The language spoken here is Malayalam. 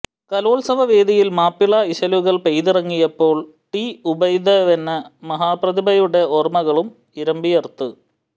കലോത്സവവേദിയിൽ മാപ്പിള ഇശലുകൾ പെയ്തിറങ്ങിയപ്പോൾ ടി ഉബൈദേന്ന മഹപ്രതിഭയുടെ ഓർമ്മകളും ഇരമ്പിയ്യർത്ത്